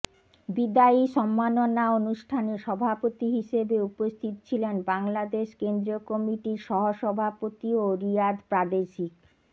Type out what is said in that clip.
বিদায়ী সম্মাননা অনুষ্ঠানে সভাপতি হিসেবে উপস্থিত ছিলেন বাংলাদেশ কেন্দ্রীয় কমিটির সহসভাপতি ও রিয়াদ প্রাদেশিক